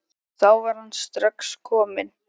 Þá var hann strax kominn.